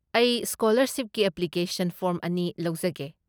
ꯑꯩ ꯁ꯭ꯀꯣꯂꯔꯁꯤꯞꯀꯤ application form ꯑꯅꯤ ꯂꯧꯖꯒꯦ꯫